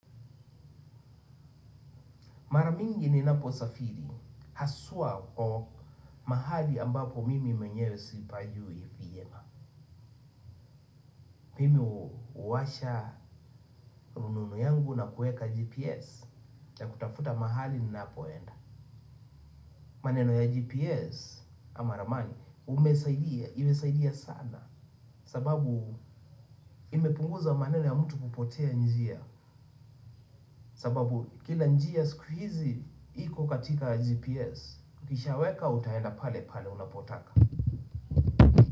Mara mingi ninaposafiri. Haswa kwa mahali ambapo mimi mwenyewe sipajui vyema. Mimi huwasha rununu yangu na kuweka GPS. Ya kutafuta mahali ninapoenda. Maneno ya GPS ama ramani umesaidia. Imesaidia sana. Sababu imepunguza maneno ya mtu kupotea njia. Sababu kila njia siku hizi iko katika GPS. Ukishaweka utaenda pale pale unapotaka.